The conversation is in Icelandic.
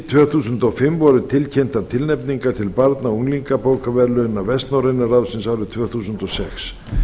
tvö þúsund og fimm voru tilkynntar tilnefningar til barna og unglingabókaverðlauna vestnorræna ráðsins árið tvö þúsund og sex